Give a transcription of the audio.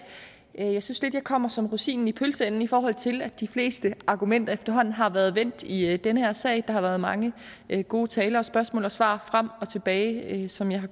jeg synes lidt at jeg kommer som rosinen i pølseenden i forhold til at de fleste argumenter efterhånden har været vendt i denne sag der har været mange gode taler spørgsmål og svar frem og tilbage som jeg har